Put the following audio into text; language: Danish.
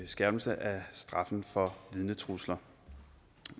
skærpelse af straffen for vidnetrusler